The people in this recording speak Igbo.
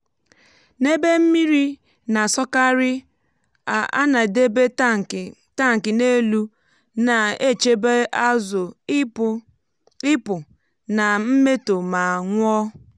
n’ebe mmiri na-asọkarị á nà edebe tankị tankị n'elu na-echebe azụ ipụ̀ nà mmétọ ma nwụọ́